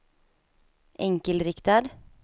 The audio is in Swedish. enkelriktad